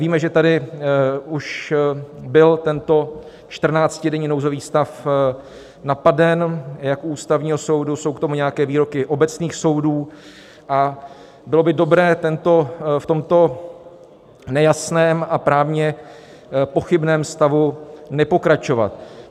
Víme, že tady už byl tento čtrnáctidenní nouzový stav napaden, jak u Ústavního soudu, jsou k tomu nějaké výroky obecných soudů, a bylo by dobré v tomto nejasném a právně pochybném stavu nepokračovat.